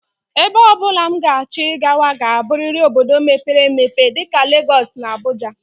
Ebe ọ bụla m ga-achọ ịkwaga ga-abụrịrị obodo mepere emepe dịka Legọs na Abuja